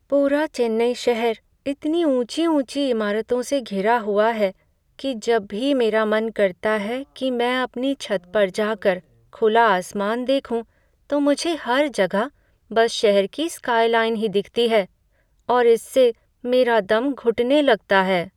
पूरा चेन्नई शहर इतनी ऊँची ऊँची इमारतों से घिरा हुआ है कि जब भी मेरा मन करता है कि मैं अपनी छत पर जाकर खुला आसमान देखूँ, तो मुझे हर जगह बस शहर की स्काइलाइन ही दिखती है और इससे मेरे दम घुटने लगता है।